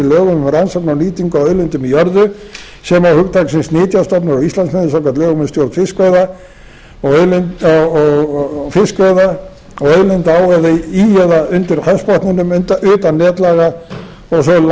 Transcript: lögum um rannsóknir og nýtingu á auðlindum í jörðu sem og hugtaksins nytjastofnar á íslandsmiðum samkvæmt lögum um stjórn fiskveiða og auðlinda á í eða undir hafsbotni utan netlaga og svo langt til hafs sem fullveldisréttur íslands nær